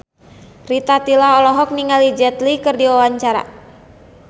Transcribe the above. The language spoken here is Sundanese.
Rita Tila olohok ningali Jet Li keur diwawancara